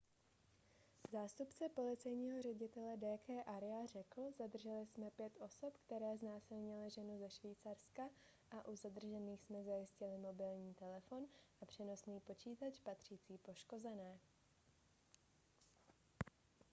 zástupce policejního ředitele d k arya řekl zadrželi jsme pět osob které znásilnily ženu ze švýcarska a u zadržených jsme zajistili mobilní telefon a přenosný počítač patřící poškozené